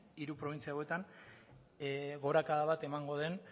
hiru probintzia hauetan gorakada bat emango den